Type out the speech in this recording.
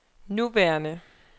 nuværende